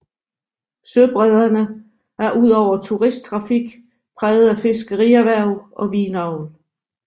Søbredderne er ud over turisttrafik præget af fiskerierhverv og vinavl